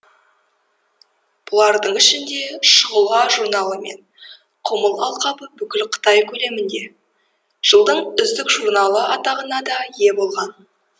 бұлардың ішінде шұғыла журналы мен құмыл алқабы бүкіл қытай көлемінде жылдың үздік журналы атағына да ие болған